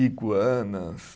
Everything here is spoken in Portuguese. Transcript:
Iguanas.